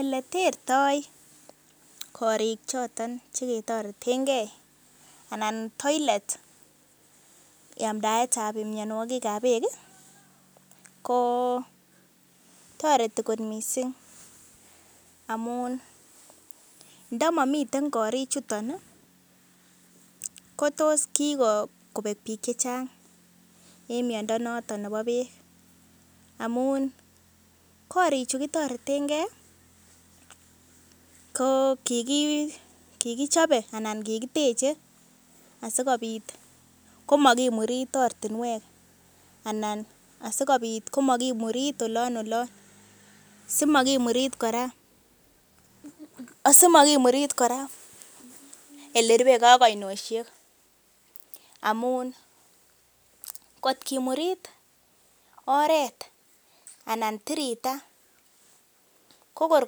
Ele tertoi korik choton che kitoretenge anan toilet yamdaetab mianwogikab beek kotoreti kot mising amun ndo momi korichuton kotos kigobek biik chechnag en miando noton nebo beek. Amun korichu kitoretenge ko kigichope anan kigiteche asikobit komakimurit ortinwek anan asikobit komakimurit olon olon simakimurit kora ele rupe ge ak oinoshek amun kot kimurit oret anan tirita ko kor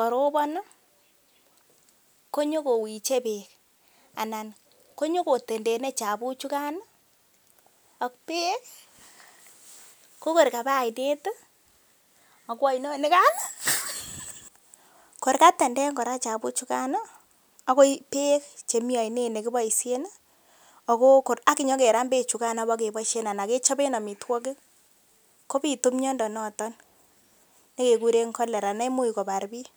karobon konyokowiche beek anan konyokotendene chafuk chugan ak beek kokor kaba oinet ago oinonikan. Kor katenden kora chafuk chugan agoi beek chemi oinet ne kiboisien ak kenyokeram beechugan ak bokeboisiien anan kechoben amitwogik, kobitu miando noton ne keguren cholera neimuch kobar biik.